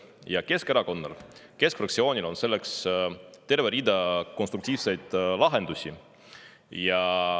Ja Keskerakonnal, keskfraktsioonil on selleks terve rida konstruktiivseid lahendusi.